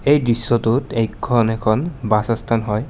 এই দৃশ্যটোত এইখন এখন বাছ ষ্টেচন হয়।